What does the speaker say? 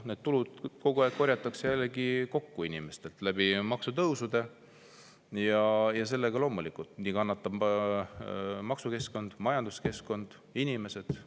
Need tulud korjatakse kokku inimestelt maksutõusude kaudu ja selle tõttu loomulikult kannatab maksukeskkond, majanduskeskkond, inimesed.